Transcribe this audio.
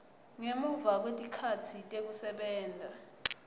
ngemuva kwetikhatsi tekusebenta